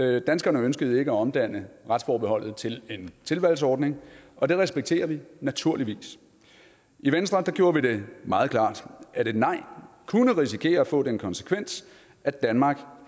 det danskerne ønskede ikke at omdanne retsforbeholdet til en tilvalgsordning og det respekterer vi naturligvis i venstre gjorde vi det meget klart at et nej kunne risikere at få den konsekvens at danmark